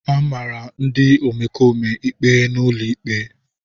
A mara ndị omekome ikpe n'ụlọ ikpe.